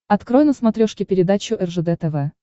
открой на смотрешке передачу ржд тв